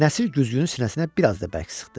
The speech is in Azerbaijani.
Nəsir güzgünü sinəsinə bir az da bərk sıxdı.